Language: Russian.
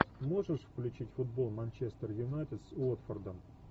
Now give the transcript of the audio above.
можешь включить футбол манчестер юнайтед с уотфордом